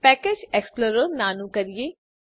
package explorer નાનું કરીએ